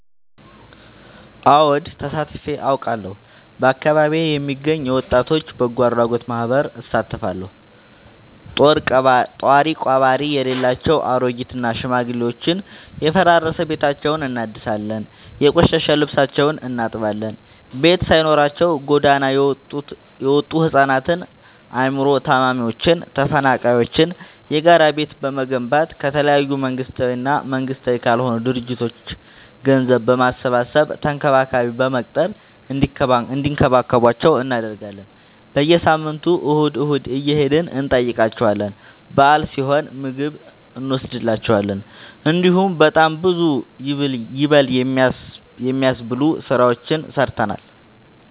አወድ ተሳትፊ አውቃለሁ። በአካቢዬ የሚገኝ የወጣቶች በጎአድራጎት ማህበር እሳተፋለሁ። ጦሪቀባሪ የሌላቸው አሬጊት እና ሽማግሌዎችን የፈራረሰ ቤታቸውን እናድሳለን፤ የቆሸሸ ልብሳቸውን እናጥባለን፤ ቤት ሳይኖራቸው ጎዳና የወጡቱ ህፃናትን አይምሮ ታማሚዎችን ተፈናቃይዎችን የጋራ ቤት በመገንባት ከተለያዩ መንግስታዊ እና መንግስታዊ ካልሆኑ ድርጅቶች ገንዘብ በማሰባሰብ ተንከባካቢ በመቅጠር እንዲከባከቧቸው እናደርጋለን። በየሳምንቱ እሁድ እሁድ እየሄድን እንጠይቃቸዋለን በአል ሲሆን ምግብ እኖስድላቸዋለን። እንዲሁም በጣም ብዙ ይበል የሚያስብ ስራዎችን ሰርተናል።